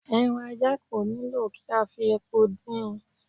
Ẹran ajá kò nílò kí a fi epo din in